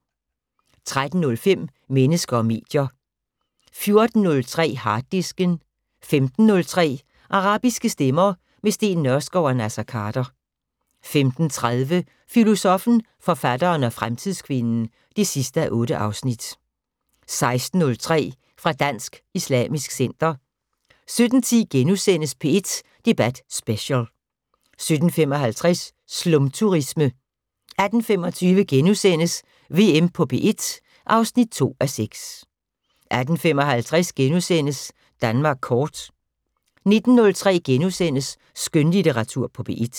13:03: Mennesker og medier 14:03: Harddisken 15:03: Arabiske stemmer - med Steen Nørskov og Naser Khader 15:30: Filosoffen, forfatteren og fremtidskvinden (8:8) 16:03: Fra Dansk Islamisk Center 17:10: P1 Debat Special * 17:55: Slumturisme 18:25: VM på P1 (2:6)* 18:55: Danmark kort * 19:03: Skønlitteratur på P1 *